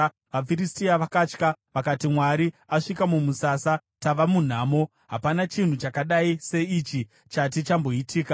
vaFiristia vakatya. Vakati, “Mwari asvika mumusasa. Tava munhamo! Hapana chinhu chakadai seichi chati chamboitika.